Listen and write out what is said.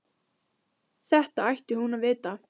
Þetta ætti hún að vita.